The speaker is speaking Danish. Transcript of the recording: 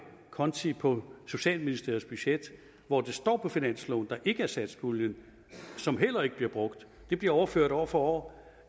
konti på socialministeriets budget hvor det står på finansloven der ikke er satspuljen som heller ikke bliver brugt det bliver overført år for år